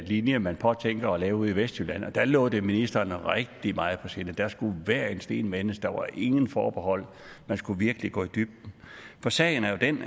linje man påtænker at lave ude i vestjylland og der lå det ministeren rigtig meget på sinde der skulle hver en sten vendes der var ingen forbehold man skulle virkelig gå i dybden for sagen er jo den